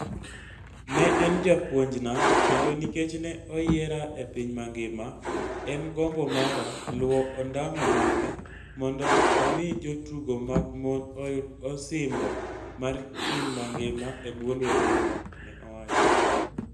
"Ne en japuonjna kendo nikech ne oyiera e piny mangima, en gombo mara luwo ondamo mage mondo omi jotugo mag mon oyud osimbo mar piny mangima e bwo lwetena", ne owacho.